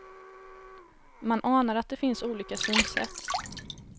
Man anar att det finns olika synsätt.